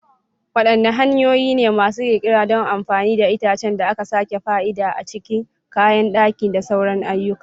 Wadanne hanyoyi ne masu kirkira don amfani da itacen da aka sake fa'ida a cikin kayan daki da sauran ayyukan?